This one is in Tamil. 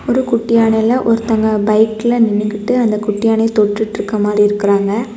ஒரு குட்டி யானையில ஒருத்தங்க பைக்ல நின்னுகிட்டு அந்த குட்டி யானையை தொட்டுட்டுருக்கிற மாரி இருக்காங்க.